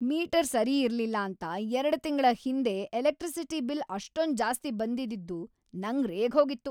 Metre ಸರಿ ಇರ್ಲಿಲ್ಲ ಅಂತ ೨ ತಿಂಗ್ಳ ಹಿಂದೆ ಎಲೆಕ್ಟ್ರಿಸಿಟಿ ಬಿಲ್ ಅಷ್ಟೊಂದ್ ಜಾಸ್ತಿ ಬಂದಿ‌ದ್ದಿದ್ದು ನಂಗ್‌ ರೇಗ್ಹೋಗಿತ್ತು.